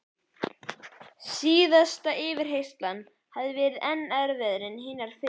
Síðasta yfirheyrslan hafði verið enn erfiðari en hinar fyrri.